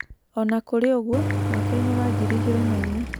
O na kũrĩ ũguo, mwaka-inĩ wa ngiri igĩrĩ na inya.